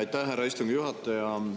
Aitäh, härra istungi juhataja!